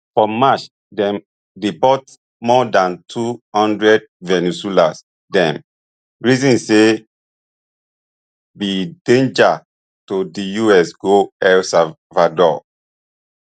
for march dem deport more dan two hundred venezuelans dem reason say be danger to di us go el salvador